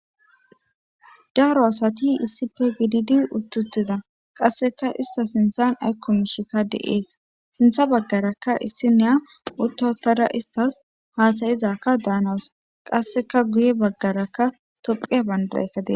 daaro asati issippe gididi uttutida qasseka ista sinthan aykko mishikka deees sintha baggarakka issi neya uttawutada istas haasayizakka daanawus qasseka guye baggaraka tophiya bandaraykadie